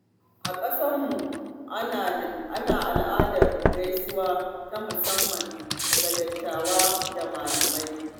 A ƙasarmu, ana da al’adar gaisuwa ta musamman ga dattawa da malamai.